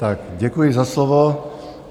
Tak děkuji za slovo.